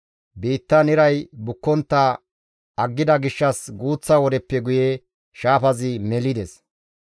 Biittan iray bukkontta aggida gishshas guuththa wodeppe guye shaafazi melides.